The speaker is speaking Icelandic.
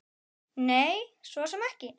Nei, svo sem ekki.